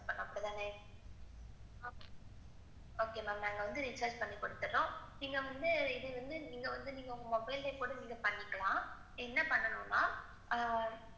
Okay ma'am நாங்க recharge பண்ணி குடுத்துடறோம். நீங்க வந்து நீங்க வந்து நீங்க வந்து நீங்க வந்து உங்க mobile கூட பன்னிக்கலாம். என்ன பண்ணணும்னா ஆஹ்